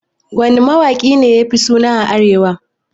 Wanne mawaki ne yafi suna a arewa?